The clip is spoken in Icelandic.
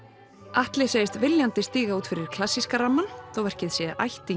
Atli segist viljandi stíga út fyrir klassíska þótt verkið sé ættingi